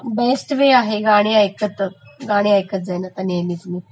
हो best way आहे गाणी ऐकलं तर गाणी एकतं जाणं नेहमीचं